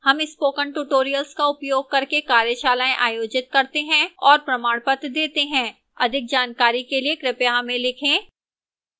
हम spoken tutorial का उपयोग करके कार्यशालाएँ आयोजित करते हैं और प्रमाणपत्र देती है अधिक जानकारी के लिए कृपया हमें लिखें